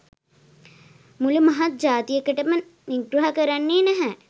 මුළු මහත් ජාතියකටම නිග්‍රහ කරන්නේ නැහැ